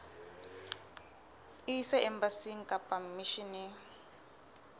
e ise embasing kapa misheneng